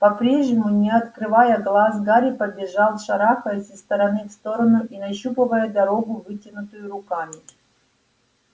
по-прежнему не открывая глаз гарри побежал шарахаясь из стороны в сторону и нащупывая дорогу вытянутыми руками